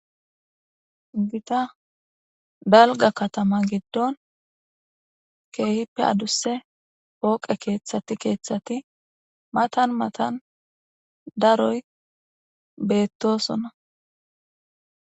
Gitta dalgga katama giddon keehippe addusse pooqe keeththati keeththati matan matan daroy beettosonna